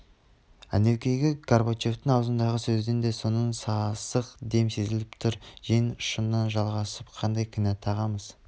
әнеукүнгі горбачевтың аузындағы сөзден де соның сасық дем сезіліп тұр жең ұшынан жалғасып қандай кінә тағамыз